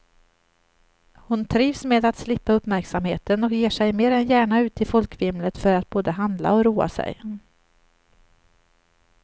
Hon trivs med att slippa uppmärksamheten och ger sig mer än gärna ut i folkvimlet för att både handla och roa sig.